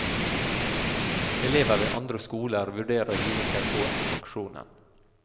Elever ved andre skoler vurderer å hive seg på aksjonen.